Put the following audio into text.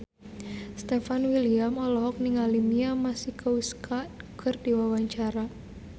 Stefan William olohok ningali Mia Masikowska keur diwawancara